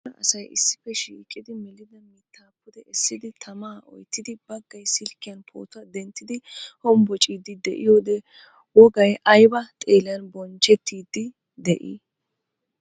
Cora asay issippe shiiqidi melidda miitta pude essidi tamaa oyttidi baggaay silkiyan pootuwaa denttiidi hombocciidi de'iyode wogay ayba xeelan bonchchettiidi de'ii?